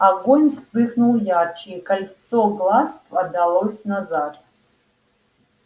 огонь вспыхнул ярче и кольцо глаз подалось назад